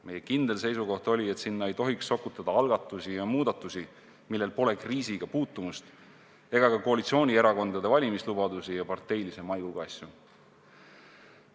Meie kindel seisukoht oli, et sinna ei tohiks sokutada algatusi ja muudatusi, millel pole kriisiga puutumust, ega ka koalitsioonierakondade valimislubadusi ja muid parteilise maiguga asju.